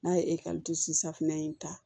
N'a ye ekɔli safinɛ in ta